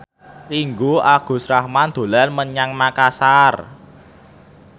Ringgo Agus Rahman dolan menyang Makasar